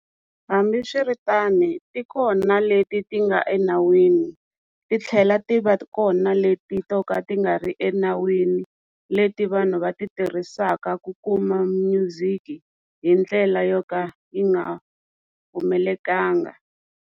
Hambiswiritano ti kona leti ti nga enawini titlhela ti va kona leti to ka ti nga ri enawini leti vanhu va ti tirhisaka ku kuma music hi ndlela yo ka yi nga pfumelekanga.